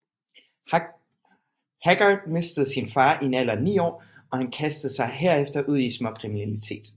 Haggard mistede sin far i en alder af ni år og han kastede sig herefter ud i småkriminalitet